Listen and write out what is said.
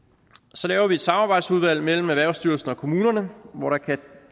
så laver vi et samarbejdsudvalg mellem erhvervsstyrelsen og kommunerne hvor der kan